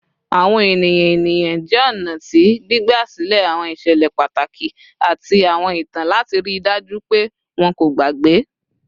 Awọn eniyan eniyan jẹ ọna ti gbigbasilẹ awọn iṣẹlẹ pataki ati awọn itan lati rii daju pe wọn ko gbagbe